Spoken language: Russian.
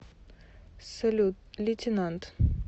салют лейтенант